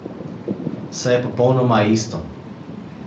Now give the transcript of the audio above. Saj je popolnoma isto.